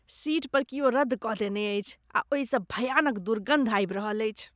Seat पर कियो रदद क देने अछि आ ओहिसँ भयानक दुर्गन्ध आबि रहल अछि।